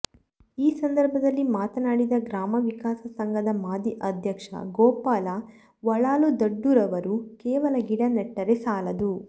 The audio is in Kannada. ಈ ಸಂದರ್ಭದಲ್ಲಿ ಮಾತನಾಡಿದ ಗ್ರಾಮ ವಿಕಾಸ ಸಂಘದ ಮಾಜಿ ಅಧ್ಯಕ್ಷ ಗೋಪಾಲ ವಳಾಲುದಡ್ಡುರವರು ಕೇವಲ ಗಿಡ ನೆಟ್ಟರೆ ಸಾಲದು